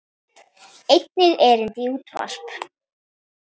Einnig erindi í útvarp.